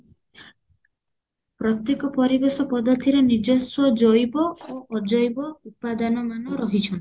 ପ୍ରତେକ ପରିବେଶ ପଦ୍ଧତିରେ ନିଜସ୍ୱ ଜୈବ ଆଉ ଅଜୈବ ଉପାଦାନ ମାନ ରହିଚନ୍ତି